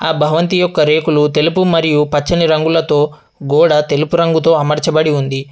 ఆ భవంతి యొక్క రేకులు తెలుపు మరియు పచ్చని రంగులతో గోడ తెలుపు రంగుతో అమర్చబడి ఉంది.